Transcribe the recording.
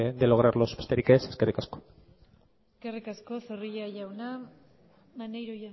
de lograrlos besterik ez eskerrik asko eskerrik asko zorrilla jauna maneiro